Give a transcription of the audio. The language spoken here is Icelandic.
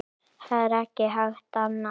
Það er ekki hægt annað.